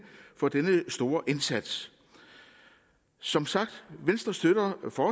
for denne store indsats som sagt støtter venstre